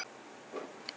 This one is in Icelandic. Lof mér sjá